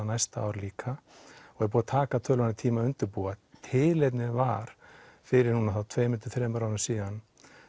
næsta ár líka og er búið að taka töluverðan tíma að undirbúa tilefnið var fyrir tveimur til þremur árum síðan